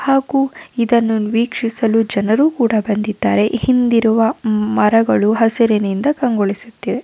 ಹಾಗು ಇದನ್ನು ವೀಕ್ಷಿಸಲು ಜನರು ಕೂಡ ಬಂದಿದ್ದಾರೆ ಹಿಂದಿರುವ ಮರಗಳು ಹಸಿರಿನಿಂದ ಕಂಗೊಳಿಸುತ್ತಿದೆ .